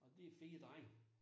Og de fire drenge